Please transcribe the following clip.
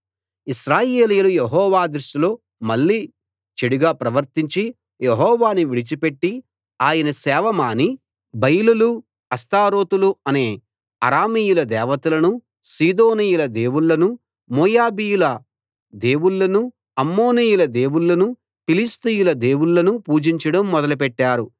ఇశ్రాయేలీయులు యెహోవా దృష్టిలో మళ్ళీ చెడుగా ప్రవర్తించి యెహోవాను విడిచిపెట్టి ఆయన సేవ మాని బయలులు అష్తారోతులు అనే అరామీయుల దేవతలను సీదోనీయుల దేవుళ్ళను మోయాబీయుల దేవుళ్ళను అమ్మోనీయుల దేవుళ్ళను ఫిలిష్తీయుల దేవుళ్ళను పూజించడం మొదలుపెట్టారు